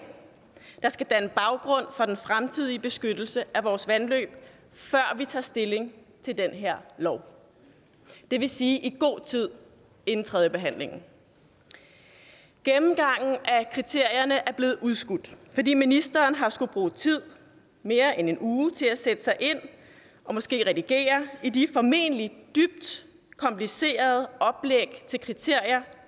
der skal danne baggrund for den fremtidige beskyttelse af vores vandløb før vi tager stilling til den her lov det vil sige i god tid inden tredjebehandlingen gennemgangen af kriterierne er blevet udskudt fordi ministeren har skullet bruge tid mere end en uge til at sætte sig ind i og måske redigere i de formentlig dybt komplicerede oplæg til kriterier